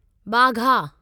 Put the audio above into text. Wagah